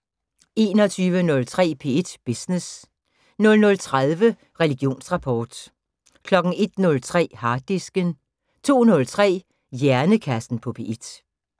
21:03: P1 Business 00:30: Religionsrapport 01:03: Harddisken 02:03: Hjernekassen på P1